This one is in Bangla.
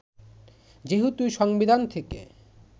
যেহেতু সংবিধান থেকে